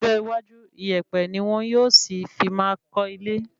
Ní ọjọ́ iwájú, ìyèpẹ̀ ní wọn yóò sì fi máa kọ́ ilé